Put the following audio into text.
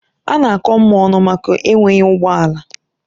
A na-akọ Mma ọnụ maka enweghị ụgbọ ala.